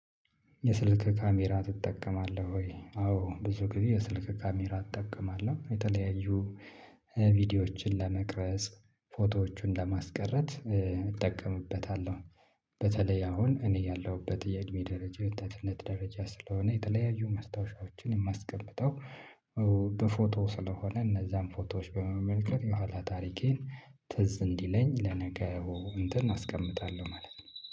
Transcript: የስልክ ካሜራ ትጠቀማለህ ወይ? አዎ ብዙ ጊዜ የስልክ ካሜራ እጠቀማለሁ የተለያዩ ቪዲዮዎችን ለመቅረጽ ፎቶዎቹን ለማስቀረት እጠቀምበታለሁ። በተለይ አሁን እኔ ያለሁበት የእድሜ ደረጃ የወጣትነት ደረጃ ስለሆነ የተለያዩ ማስታወሻዎችን የማስቀምጠው በፎቶ ስለሆነ እነዛን ፎቶዎች በመመልከት የኋላ ታሪኬን ትዝ እንዲለኝ ለነገው እንትን አስቀምጣለሁ ማለት ነው